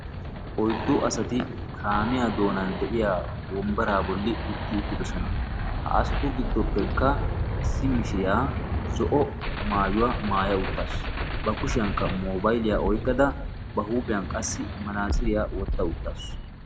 Oyddu asati kaamiyaa doonan de'iyaa wombbaraa bolli utti uttidosona. ha asatu giddopekka issi mishiriyaa zo'o maayuwaa maaya uttaasu. ba kushshiyaankka mobayiliyaa oyqqada ba huuphphiyaan qassi manaatsiriyaa wotta uttaasu.